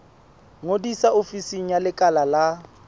ngodisa ofising ya lekala la